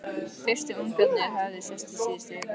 Fyrstu ungarnir höfðu sést í síðustu viku.